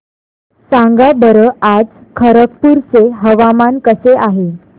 सांगा बरं आज खरगपूर चे हवामान कसे आहे